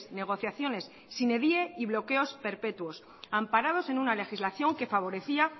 negociaciones sine die y bloqueos perpetuos amparados en una legislación que favorecía